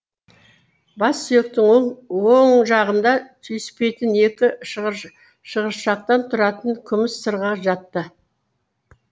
бас сүйектің оң жағында түйіспейтін екі шығыршықтан тұратын күміс сырға жатты